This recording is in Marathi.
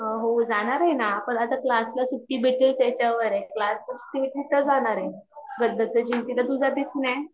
हो जाणार आहे न पण आता क्लासला सुट्टी भेटेल त्याच्यावर आहे क्लासला सुट्टी भेटली तर जाणार आहे दत्त जयंतीला तू जाते कि नाही